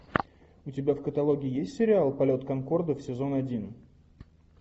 у тебя в каталоге есть сериал полет конкордов сезон один